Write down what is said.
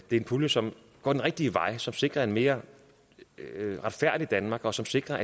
en pulje som går den rigtige vej og som sikrer et mere retfærdigt danmark og som sikrer